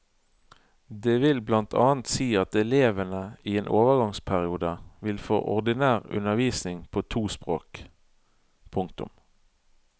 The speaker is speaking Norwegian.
Det vil blant annet si at elevene i en overgangsperiode vil få ordinær undervisning på to språk. punktum